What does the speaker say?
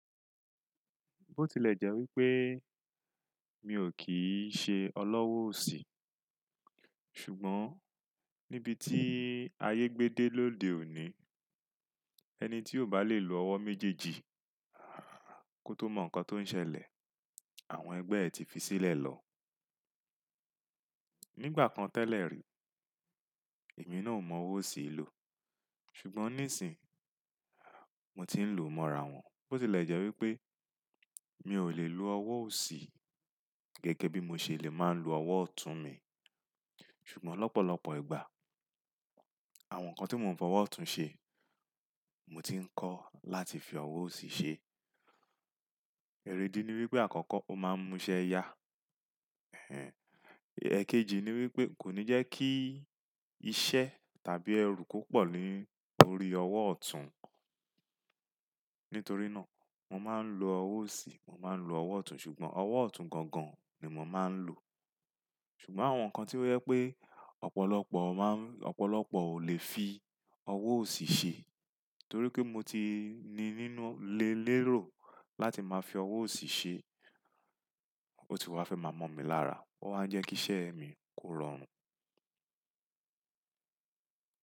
Bó tilẹ̀ jẹ́ wípé mi ò kí ń ṣe ọlọ́wọ́ òsì, ṣùgbọ́n níbi tí ayé gbé dé lóde òní, ẹni tí ò bá lè lo ọwọ́ méjèèjì kó tó mọ nǹkan tó ń ṣẹlẹ̀, àwọn ẹgbẹ́ ẹ ti fi sílẹ̀ lọ. Nígbà kan tẹ́lẹ̀ rí, èmi náà ò mọ ọwọ́ òsì lò. Ṣùgbọ́n nísìí, mo ti ń lò mọ́ra wọn. Bó tilẹ̀ jẹ́ wípé mi ò lè lo ọwọ́ òsì gẹ́gẹ́ bí mo ṣe lè máa ń lo ọwọ́ ọ̀tún mi, ṣùgbọ́n lọ́pọ̀lọpọ̀ ìgbà àwọn nǹkan tí mò ń fọwọ́ ọ̀tún ṣe, mo ti ń kọ́ láti fi ọwọ́ òsì ṣe. Ẹ̀rèdí ni wípé àkọ́kọ́ ó máa ń múṣẹ́ ya. Ẹ̀kejì ni wípé kò ní jẹ́ kí iṣẹ́ tàbí ẹrú púpọ̀ ní orí ọwọ́ ọ̀tún. Nítorí náà, mo máa ń lo ọwọ́ òsì, mo máa ń lo ọwọ́ ọ̀tún, ṣùgbọ́n ọwọ́ ọ̀tún gangan ni mò máa ń lò. Ṣùgbọ́n àwọn nǹkan tí ó jẹ́ pé ọ̀pọ̀lọpọ̀ má ń-- ọ̀pọ̀lọpọ̀ ò lè fi ọwọ́ òsì ṣe torí pé mo ti ní nínú lé lérò láti máa fi ọwọ́ òsì ṣe, ó ti wá fẹ́ máa mọ̀ mí lára. Ó máa ń jẹ́ kí iṣẹ́ mi kó rọrùn.